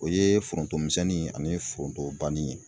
O ye foronto misɛnni ani foronto banni ye.